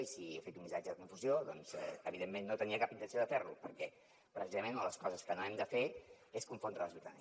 i si he fet un missatge de confusió doncs evidentment no tenia cap intenció de fer lo perquè precisament una de les coses que no hem de fer és confondre la ciutadania